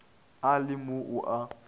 a le mo o a